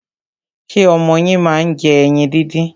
Ṣé ọmọ yín máa ń jẹ ẹyin díndín?